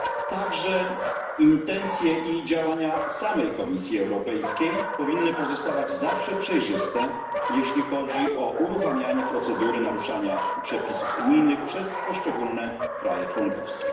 Także intencje i działania samej Komisji Europejskiej powinny pozostawać zawsze przejrzyste, jeśli chodzi o uruchamianie procedury naruszania przepisów unijnych przez poszczególne państwa członkowskie.